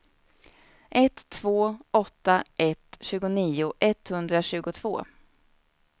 ett två åtta ett tjugonio etthundratjugotvå